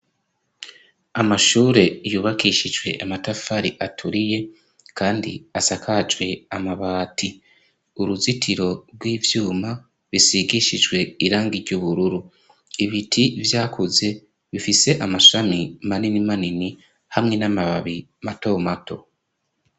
Amashure yubakishijwe amatafari aturiye, kandi asakajwe amabati. Uruzitiro rw'ivyuma bisigishijwe irangi ry'ubururu. Ibiti vyakuze bifise amashami manini manini hamwe n'amababi mato mato.